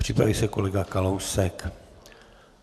Připraví se kolega Kalousek.